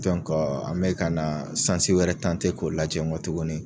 an mɛ ka na wɛrɛ k'o lajɛ k'o lajɛ nkɔ tuguni